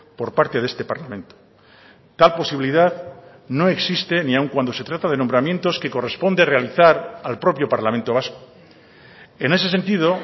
por parte de este parlamento tal posibilidad no existe ni aun cuando se trata de nombramientos que corresponde realizar al propio parlamento vasco en ese sentido